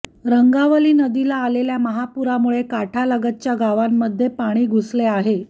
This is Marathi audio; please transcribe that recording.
रंगावली नदीला आलेल्या महापुरामुळे काठालगतच्या गावांमध्ये पाणी घुसले आहे